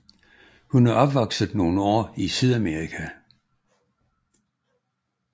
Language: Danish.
Hun er opvokset nogle år i Sydamerika